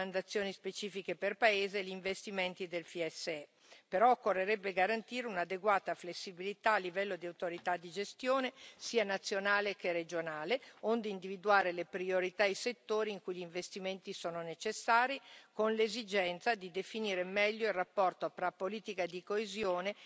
Occorrerebbe tuttavia garantire un'adeguata flessibilità a livello di autorità di gestione, sia nazionale sia regionale, onde individuare le priorità e i settori in cui gli investimenti sono necessari, con l'esigenza di definire meglio il rapporto tra politica di coesione e semestre europeo, in modo che sia quest'ultimo ad acquisire una maggiore dimensione sociale.